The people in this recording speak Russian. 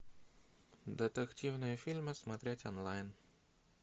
детективные фильмы смотреть онлайн